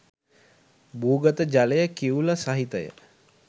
භූගත ජලය කිවුල සහිත ය.